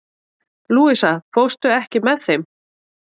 Louisa, ekki fórstu með þeim?